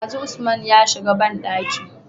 Dazu usman ya shiga banɗakin